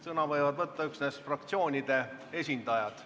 Sõna võivad võtta üksnes fraktsioonide esindajad.